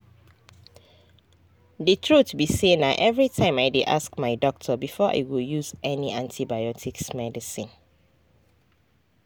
the truth be sayna everytime i dey ask my doctor before i go use any antibiotics medicine